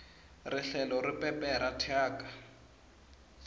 rihlelo ri pepera thyaka